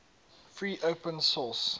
free open source